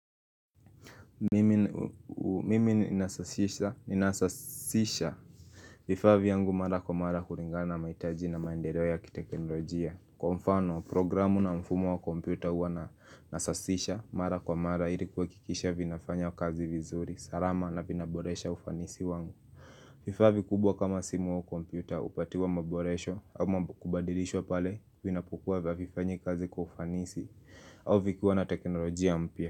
Mimi ninasasisha vifaa vyangu mara kwa mara kulingana mahitaji na maendeleo ya kiteknolojia Kwa mfano programu na mfumo wa kompyuta huwa nanasasisha mara kwa mara ilikuwa kuhakikisha vinafanya kazi vizuri salama na vinaboresha ufanisi wangu vifaa vikubwa kama simu au kompyuta hupatiwa maboresho ama kubadilishwa pale vinapokuwa havifanyi kazi kwa ufanisi au vikiwa na teknolojia mpya.